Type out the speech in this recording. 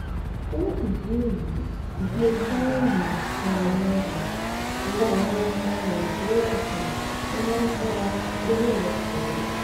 fún ìdí èyí ìdílé fawéhínmi làwọn um rọ àwọn ọmọ nàìjíríà um kí wọn ṣọra lórí ọrọ koro